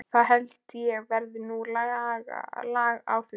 Það held ég verði nú lag á því.